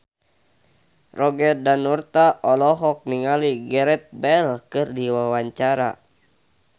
Roger Danuarta olohok ningali Gareth Bale keur diwawancara